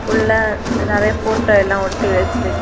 உள்ள நிறைய போட்டோ எல்லா ஒட்டி வச்சிருக்க--